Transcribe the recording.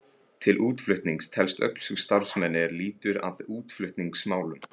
Til útflutnings telst öll sú starfsemi er lýtur að útflutningsmálum.